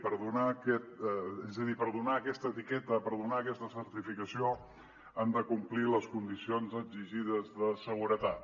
és a dir per donar aquesta etiqueta per donar aquesta certificació han de complir les condicions exigides de seguretat